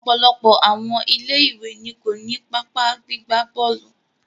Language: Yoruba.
Ọ̀pọ̀lọpọ̀ àwọn ilé ìwé ni ko ni pápá gbigba bọ́ọ̀lù.